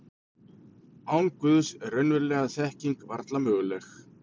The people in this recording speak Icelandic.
Án Guðs var raunveruleg þekking varla möguleg.